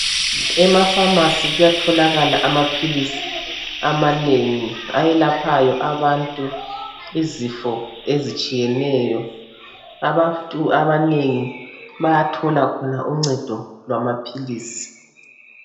Emapharmacy kuyatholakala amaphilisi amanengi ayelaphayo abantu izifo ezitshiyeneyo. Abantu abanengi bayathola khona uncedo lwamaphilisi.